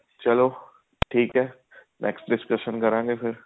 ਚਲੋ ਠੀਕ ਹੈ next discussion ਕਰਾਂਗੇ